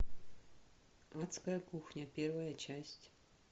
адская кухня первая часть